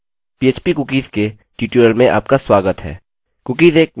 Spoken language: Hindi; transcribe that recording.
पीएचपी कुकीज़ के ट्यूटोरियल में आपका स्वागत है